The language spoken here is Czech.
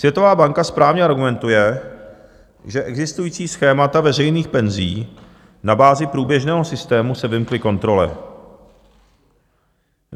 Světová banka správně argumentuje, že existující schémata veřejných penzí na bázi průběžného systému se vymkly kontrole.